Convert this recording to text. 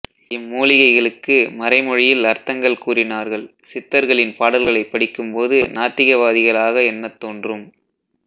இம்மூலிகைகளுக்கு மறைமொழியில் அர்த்தங்கள் கூறினார்கள்சித்தர்களின் பாடல்களை படிக்கும் போது நாத்திகவாதிகளாக எண்ணத் தோன்றும்